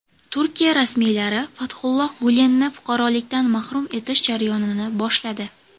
Turkiya rasmiylari Fathulloh Gulenni fuqarolikdan mahrum etish jarayonini boshladi.